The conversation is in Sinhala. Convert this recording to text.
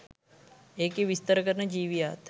ඒකෙ විස්තර කරන ජීවියාත්